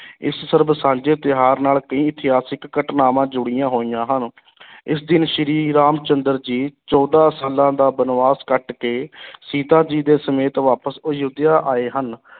ਇਸ ਸਰਬ-ਸਾਂਝੇ ਤਿਉਹਾਰ ਨਾਲ ਕਈ ਇਤਿਹਾਸਿਕ ਘਟਨਾਵਾਂ ਜੁੜੀਆਂ ਹੋਈਆਂ ਹਨ ਇਸ ਦਿਨ ਸ੍ਰੀ ਰਾਮ ਚੰਦਰ ਜੀ ਚੌਦਾਂ ਸਾਲਾਂ ਦਾ ਬਣਵਾਸ ਕੱਟ ਕੇ ਸੀਤਾ ਜੀ ਦੇ ਸਮੇਤ ਵਾਪਸ ਅਯੋਧਿਆ ਆਏ ਹਨ।